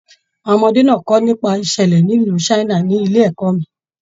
Àwọn ọmọdé náà kọ nípa ìṣẹlẹ nílu China nílé ẹ̀kọ́ mí.